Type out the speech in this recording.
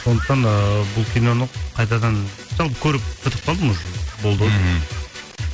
сондықтан ыыы бұл киноны қайтадан жалпы көріп бітіп қалдым уже болды ау деймін мхм